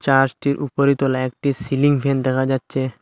চার্চটির উপরি তলায় একটি সিলিং ফ্যান দেখা যাচ্ছে।